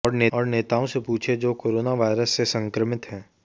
और नेताओं से पूछिए जो कोरोनावायरस से संक्रमित है